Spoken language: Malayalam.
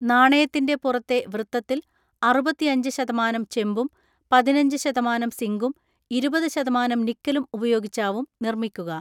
നാണയത്തിന്റെ പുറത്തെ വൃത്തത്തിൽ അറുപത്തിഅഞ്ച് ശതമാനം ചെമ്പും പതിനഞ്ച് ശതമാനം സിങ്കും ഇരുപത്‌ ശതമാനം നിക്കലും ഉപയോഗിച്ചാവും നിർമ്മിക്കുക.